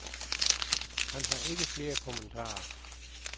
Han har ikke flere kommentarer.